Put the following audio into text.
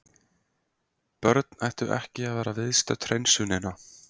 Börn ættu ekki að vera viðstödd hreinsunina.